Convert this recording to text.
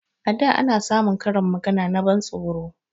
A da ana samun karin magana na ban tsoro